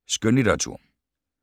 Skønlitteratur